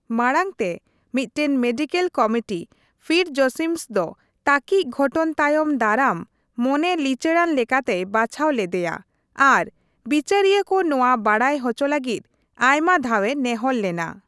ᱢᱟᱲᱟᱝ ᱛᱮ ᱢᱤᱫᱴᱟᱝ ᱢᱮᱰᱤᱠᱮᱞ ᱠᱚᱢᱤᱴᱤ ᱯᱷᱤᱴᱡᱚᱥᱤᱢᱱᱥ ᱫᱚ ᱛᱟᱹᱠᱤᱡ ᱜᱷᱚᱴᱚᱱ ᱛᱟᱭᱚᱢ ᱫᱟᱨᱟᱢ ᱢᱚᱱᱮ ᱞᱤᱪᱟᱹᱲᱟᱱ ᱞᱮᱠᱟᱛᱮᱭ ᱵᱟᱪᱷᱟᱣ ᱞᱮᱫᱮᱭᱟ ᱟᱨ ᱵᱤᱪᱟᱹᱨᱤᱭᱟᱹ ᱠᱚ ᱱᱚᱣᱟ ᱵᱟᱰᱟᱭ ᱦᱚᱪᱚ ᱞᱟᱹᱜᱤᱫ ᱟᱭᱢᱟ ᱫᱷᱟᱣ ᱮ ᱱᱮᱦᱚᱨ ᱞᱮᱱᱟ ᱾